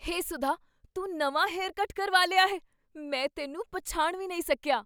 ਹੇ ਸੁਧਾ, ਤੂੰ ਨਵਾਂ haircut ਕਰਵਾ ਲਿਆ ਹੈ! ਮੈਂ ਤੈਨੂੰ ਪਛਾਣ ਵੀ ਨਹੀਂ ਸਕੀਆ!